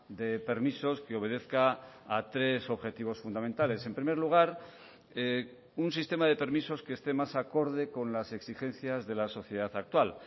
de permisos que obedezca a tres objetivos fundamentales en primer lugar un sistema de permisos que esté más acorde con las exigencias de la sociedad actual